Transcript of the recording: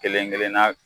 Kelen kelenna